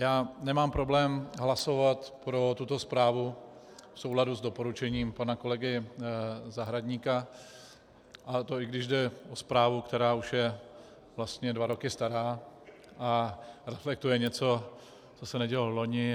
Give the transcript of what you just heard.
Já nemám problém hlasovat pro tuto zprávu v souladu s doporučením pana kolegy Zahradníka, a to i když jde o zprávu, která už je vlastně dva roky stará a reflektuje něco, co se nedělo vloni.